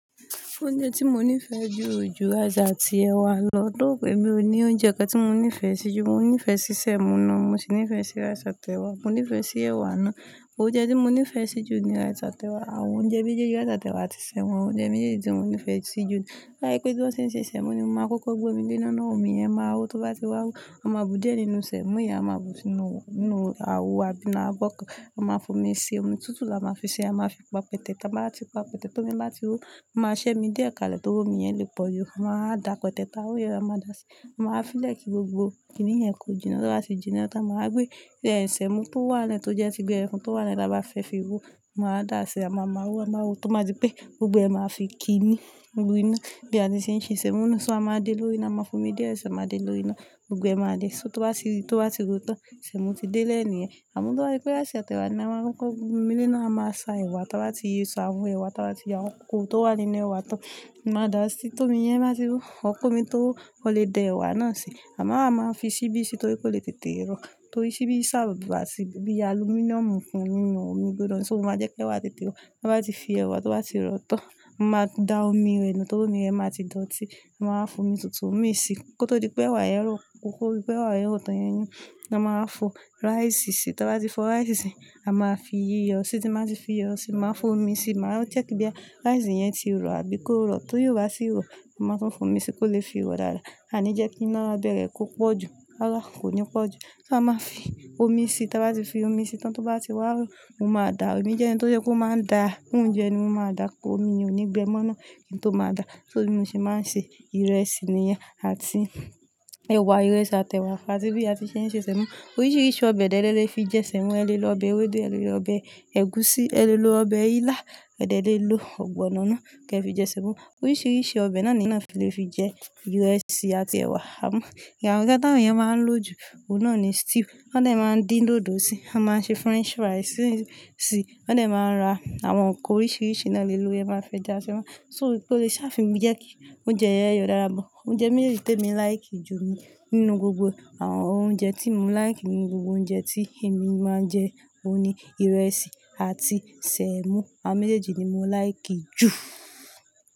Oúnjẹ tí mo nífẹ̀ẹ́ jù jù, àjà ti ẹ̀wà lọ́dọ̀ òbí mi. Oúnjẹ kan tí mo nífẹ̀ẹ́ sí jù, mo nífẹ̀ẹ́ sí sẹ̀mó náà, mo sì nífẹ̀ẹ́ sí rice àti ẹ̀wà, mo nífẹ̀ẹ́ sí ẹ̀wà náà. Oúnjẹ tí mo nífẹ̀ẹ́ sí jù ni rice àti tẹ̀wà. Àwọn oúnjẹ méjèèjì, rice àti ẹ̀wà àti sẹ̀mọ́, oúnjẹ méjèèjì tí mo nífẹ̀ẹ́ sí jù ni. Tó bá jẹ́ pé bí wọ́n ṣe ń ṣe sẹ̀mọ́ ni mo máa kọ́kọ́ gbé omi lé iná ná, omi yẹn máa hó tó bá ti wá hó. A máa bu díẹ̀ nínú sẹ̀mọ́ yẹn, a máa bu sínú, nínú àwo àbí inú abọ́ kan. A má fi omi sì, omi tútù là má fi sì, a má fi pò papọ̀, tá bá ti pọ̀ papọ̀ tán, tó mi bá ti hó, a má ṣe omi díẹ̀ kalẹ̀ tó rí omi yẹn lè pọ̀ inú ẹ máa dà pẹtẹ́tẹ́ táa hó yẹn, a máa dà á sí, a máa wà fi lẹ́ẹ̀ kì gbogbo kíni yẹn kó jinná. Tó bá tí jinná tán, a wá màá gbé sẹ̀mọ́ tó wà ń lẹ̀ tó jẹ́ tí gberefu tó wà lẹ́nu, bá fẹ́ fi hó, a wá màá dà á sí, a máa máa ro, a máa ró tó máa di pé gbogbo ẹ̀ máa fi kí ni lu inú bí a ti ṣe ń ṣe sẹ̀mọ́ náà. So a máa dé lórí iná, a máa fo omi díẹ̀ sì, a máá dé lórí iná, gbogbo ẹ̀ máa dé. So tó bá ti, tó bá ti ro tán, sẹ̀mọ́ ti dé lẹ́ ni yẹn. Àmọ́ tó bá yí i pẹ́, rice àti ẹ̀wà ni a máa kọ́kọ́ gbé omi lé iná, a máa sa ẹ̀wà, táa bá ti, sa àwọn ẹ̀wà, táa bá ti yá àwọn kókóró tó wà nínú ẹ̀wà tán. A máa wà dà á sí, tómi yẹn bá ti hó, ọOr ko omi tó hó, ò lè da ẹ̀wà náà sè. A máa, a máa fi ṣíbí sí i torí kò lè tètè rọ́. Torí ṣíbí serve as sí i bí i alumíníọ̀mù fún nínú omi gbígbóná. So ó máa jẹ́ kí ẹ̀wà tètè rọ̀. Tó bá ti fi ẹ̀wà tó bá ti rọ̀ tán, máa da omi rẹ nù torí omi rẹ máa ti dọ̀tí. A máa wa fi omi tuntun mi sí i kó tó di pé ẹ̀wà yẹn rọ̀. Kó di pé ẹ̀wà yẹn rọ̀ tán yẹn yín, a máa fọ ráìsì sí i. Táa bá ti fọ ráìsì sí i, a máa fi iyọ̀ sí i. Tó bá ti fi iyọ̀ sí i, máa fi omi sí i. Màá check bóyá i ráìsì yẹn ti rọ̀ àbí kó rọ̀. Tí óò bá sì rọ̀, màá tún fún omi sí i kó lè fi rọ̀ dáadáa. Àní jẹ́ kí iná abẹ́ rẹ̀ kó pọ́ jù. Rárá, kò ní pọ́ jù. So a máa fi omi sí i. Táa bá ti fi omi sí i tán, tó bá ti wá hó, mo máa da omi. Jẹ́ ẹni tó yẹ́ kó máa ń da oúnjẹ ẹni mó máa dà ko omi ò ní gbẹ mọ́ náà kí n tó máa dà á. So bí mo ṣe máa ń ṣe ìrẹsì nìyẹn àti ẹ̀wà, ìrẹsì àti ẹ̀wà fàájì bí a ti ṣe ń ṣe sẹ̀mọ́. Oríṣiríṣi ọbẹ̀ dẹ́ lẹ́ẹ́ lè fi jẹ sẹ̀mọ́. Ẹ lè lo ọbẹ̀ ewédú, ẹ lè lo ọbẹ̀ ẹ̀gúsí, ẹ lè lo ọbẹ̀ ilá, ẹ̀ dẹ́ lè lò ọ̀gbọ̀nọ̀n náà kí ẹ fi jẹ sẹ̀mọ́. Oríṣiríṣi ọbẹ̀ náà ni iná lè fi jẹ ìrẹsì àti ẹ̀wà. Àmọ́ èyí táwọn èyàn máa ń lò ju, òun náà ni stew. Wọ́n dẹ̀ máa ń dín dòdò sí i, a máa ń ṣe french. Oúnjẹ méjèèjì tèmi like ju ni, nínú gbogbo ẹ àwọn oúnjẹ tó mo like nínú gbogbo oúnjẹ tí èmi má ń jẹ́ òun ni ìrẹsì àti sèmò, àwọn méjèèjì ní mo like ju.